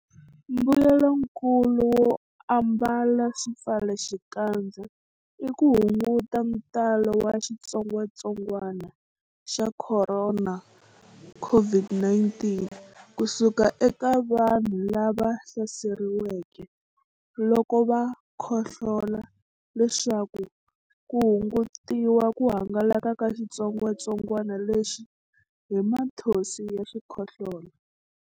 Mbuyelonkulu wo ambala swipfalaxikandza i ku hunguta ntalo wa xitsongwantsongwana xa Khorona, COVID-19, ku suka eka vanhu lava hlaseriweke loko va khohlola leswaku ku hungutiwa ku hangalaka ka xitsongwantsongwana lexi hi mathonsi ya xikhohlola.